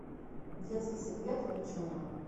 детский секрет включи мне